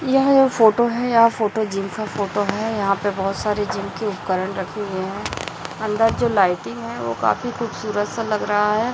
यह ये फोटो है यह फोटो जिम का फोटो है यहाँ पे बहोत सारी जिम की उपकरण रखे हुए है अंदर जो लाइटिंग है वो काफी खूबसूरत सा लग रहा है।